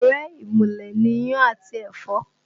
Ọ̀rẹ́ ìmùlẹ̀ ni iyán àti ẹ̀fọ́